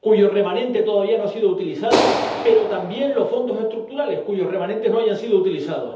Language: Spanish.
cuyo remanente todavía no ha sido utilizado, pero también los Fondos Estructurales cuyos remanentes no hayan sido utilizados.